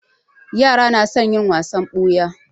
Yara na son yin wasan ɓuya.